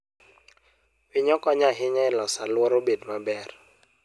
Winyo konyo ahinya e loso alworawa obed maber.